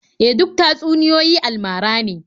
E, duk tatsuniyoyi almara ne.